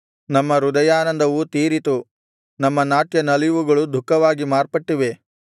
ನಮ್ಮ ಹೃದಯಾನಂದವು ತೀರಿತು ನಮ್ಮ ನಾಟ್ಯ ನಲಿವುಗಳು ದುಃಖವಾಗಿ ಮಾರ್ಪಟ್ಟಿವೆ